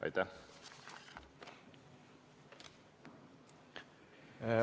Aitäh!